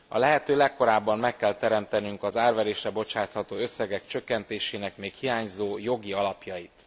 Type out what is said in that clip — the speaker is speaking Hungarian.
A lehető legkorábban meg kell teremtenünk az árverésre bocsátható összegek csökkentésének még hiányzó jogi alapjait.